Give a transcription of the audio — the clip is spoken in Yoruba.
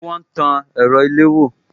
Ṣé wọn tan ẹ̀rọ ilewò